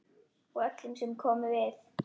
Og öllum sem komu við.